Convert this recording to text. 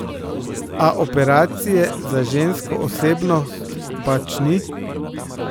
A operacije za žensko osebnost pač ni.